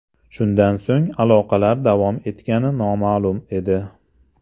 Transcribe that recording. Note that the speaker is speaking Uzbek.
Shundan so‘ng aloqalar davom etgani noma’lum edi.